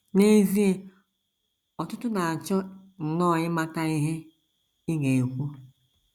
N’ezie, ọtụtụ na - achọ nnọọ ịmata ihe ị ga - ekwu.